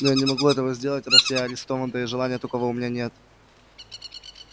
но я не могу этого сделать раз я арестован да и желания такого у меня нет